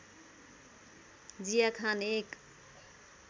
जिया खान‏ एक